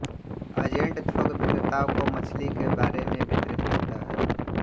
agent थोक विक्रेताओं को मछली के बारे में वितरित करता है